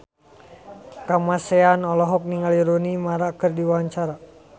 Kamasean olohok ningali Rooney Mara keur diwawancara